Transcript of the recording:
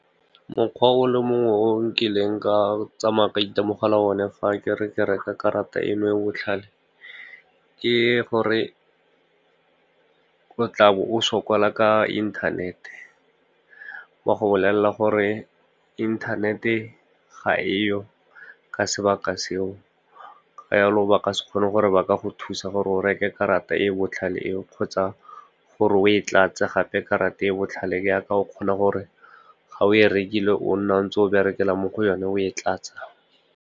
Mokgwa o le mongwe o nkileng ka tsamaya ka itemogela o ne fa ke re ke reka karata eno e o botlhale, ke gore o tla bo o sokola ka inthanete. Ba go bolelela gore inthanete ga e yo ka sebaka se o, yalo ba ka se kgone gore ba ka go thusa gore o reke karata e botlhale e o, kgotsa gore o e tlatse gape karata e e botlhale jaaka o kgona gore ga o e rekile o nne o ntse o berekela mo go yone, o e tlatse.